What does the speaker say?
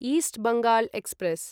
east Bengal express